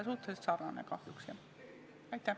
Suhteliselt sarnane kahjuks, jah.